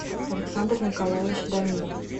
александр николаевич даминов